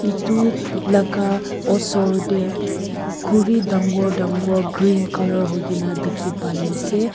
etu laga osor te khuri dangor dangor green colour hoike na dekhi pai ase.